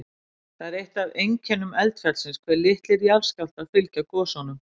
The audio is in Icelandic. Það er eitt af einkennum eldfjallsins hve litlir jarðskjálftar fylgja gosunum.